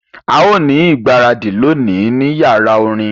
A yóò ni igbaradi loni ni yara orin